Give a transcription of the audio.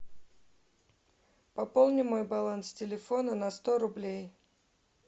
пополни мой баланс телефона на сто рублей